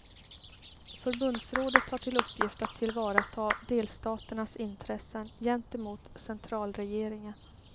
Förbundsrådet har till uppgift att tillvarata delstaternas intressen gentemot centralregeringen.